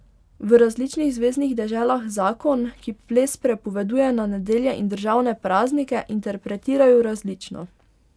V različnih zveznih deželah zakon, ki ples prepoveduje na nedelje in državne praznike, interpretirajo različno.